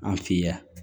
An fɛ yan